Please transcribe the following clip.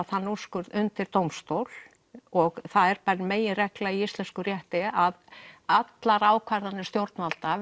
þann úrskurð undir dómstól og það er meginregla í íslenskum rétti að allar ákvarðanir stjórnvalda